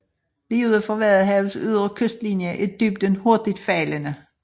Lige uden for Vadehavets ydre kystlinje er dybden hurtigt faldende